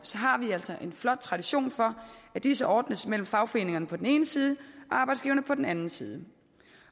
har vi altså en flot tradition for at disse ordnes mellem fagforeningerne på den ene side og arbejdsgiverne på den anden side